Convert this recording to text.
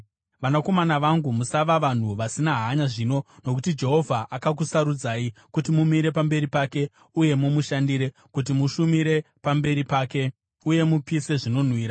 Vanakomana vangu, musava vanhu vasina hanya zvino, nokuti Jehovha akakusarudzai kuti mumire pamberi pake, uye mumushandire, kuti mushumire pamberi pake uye mupise zvinonhuhwira.”